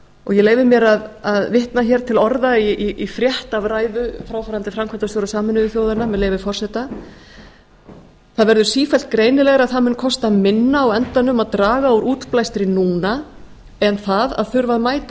ég leyfi mér að vitna hér til orða í frétt af ræðu fráfarandi framkvæmdastjóra sameinuðu þjóðanna með leyfi forseta það verður sífellt greinilegra að það mun kosta minna á endanum að draga úr útblæstri núna en það að þurfa að mæta